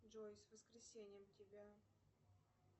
джой с воскресеньем тебя